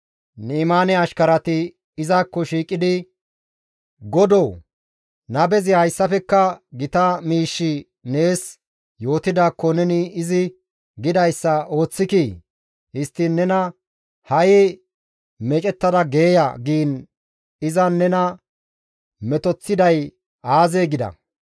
Ni7imaane ashkarati izakko shiiqidi, «Godoo nabezi hayssafekka gita miish nees yootidaakko neni izi gidayssa ooththikii? Histtiin nena, ‹Ha7i meecettada geeya› giin izan nena metoththiday aazee?» gida.